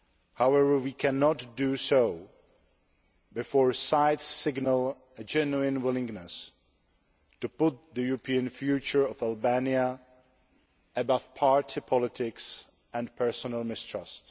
However, we cannot do so before both sides signal a genuine willingness to put the European future of Albania above party politics and personal mistrust.